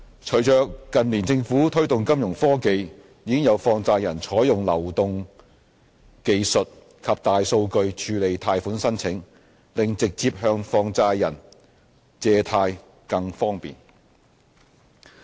隨着近年政府推動金融科技，已有放債人採用流動技術及大數據處理貸款申請，令直接向放債人借貸更方便。